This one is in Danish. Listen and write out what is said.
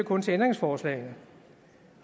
kun til ændringsforslagene